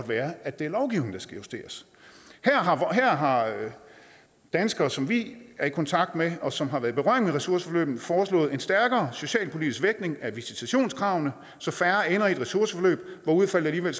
være at det er lovgivningen der skal justeres her har danskere som vi er i kontakt med og som har været i berøring med ressourceforløbene foreslået en stærkere socialpolitisk vægtning af visitationskravene så færre ender i et ressourceforløb hvor udfaldet alligevel